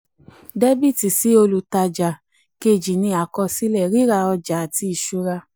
dr sí olùtajà dr sí olùtajà kejì ni àkọsílẹ: ríra ọjà àti ìṣura.